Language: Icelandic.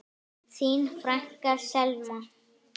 Þín frænka, Selma.